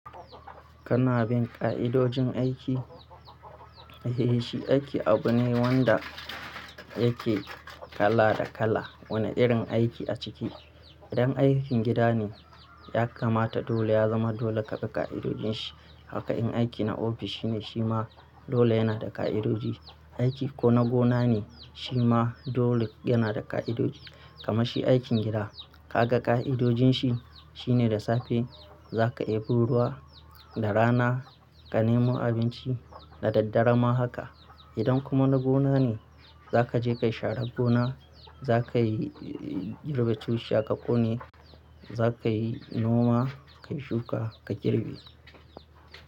Kana bin ka'idojin aiki? Eh shi aiki abu ne wanda yake kala da kala, wane irin aiki a ciki. Idan aikin gida ne ya kamata dole ya zama dole ka bi ka'idojin shi. Haka in aiki na ofis shine shi ma dole yana da ka'idoji. Aiki ko na gona ne shi ma dole yana da ka'idoji. Kamashi aikin gida ka ga ka'idojin shi shine da safe za ka ebo ruwa, da rana ka nemo abinci da daddare ma haka. Idan kuma na gona ne za ka je ka sharar gona, za ka yi girbe cushiya kone, za ka yi noma, kayi shuka, ka girbe.